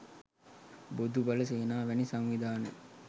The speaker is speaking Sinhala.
බොදු බල සේනා වැනි සංවිධාන